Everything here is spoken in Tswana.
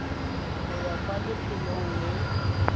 go ya kwa lefelong le